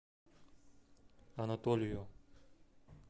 анатолию